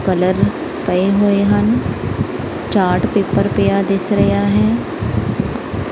Colour ਪਏ ਹੋਏ ਹਨ ਚਾਟ ਪੇਪਰ ਪਿਆ ਦਿੱਸ ਰਿਹਾ ਹੈ।